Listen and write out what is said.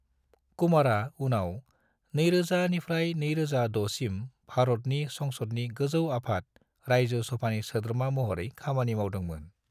कुमारा उनाव 2000 निफ्राय 2006 सिम भारतनि संसदनि गोजौ आफाद रायजो सभानि सोद्रोमा महरै खामानि मावदोंमोन।